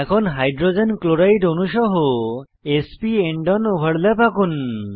এখন hydrogen chloride অণু সহ s p end on overlap আঁকুন